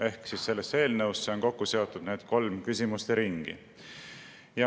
Ehk siis sellesse eelnõusse on kokku seotud need kolm küsimusteringi.